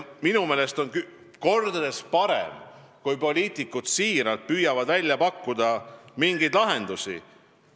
Minu meelest on kordades parem, kui poliitikud siiralt püüavad välja pakkuda mingeid lahendusi.